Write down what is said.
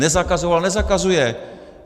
Nezakazoval, nezakazuje.